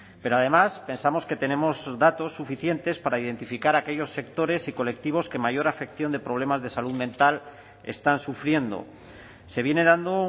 pero además pensamos que tenemos datos suficientes para identificar a aquellos sectores y colectivos que mayor afección de problemas de salud mental están sufriendo se viene dando